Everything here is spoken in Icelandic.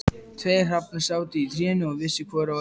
Tveir hrafnar sátu í trénu og vissu hvor að öðrum.